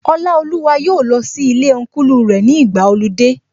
Ọlaoluwa yóò lọ sí ilé Ọnkulu rẹ̀ ní ìgbàa ọludé